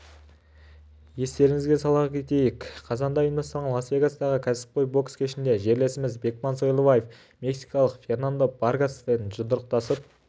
естеріңізге сала кетейік қазанда ұйымдастырған лас-вегастағы кәсіпқой бокс кешінде жерлесіміз бекман сойлыбаев мексикалық фернандо варгаспен жұдырықтасып